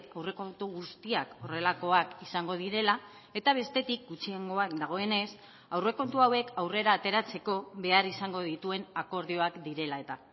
aurrekontu guztiak horrelakoak izango direla eta bestetik gutxiengoan dagoenez aurrekontu hauek aurrera ateratzeko behar izango dituen akordioak direla eta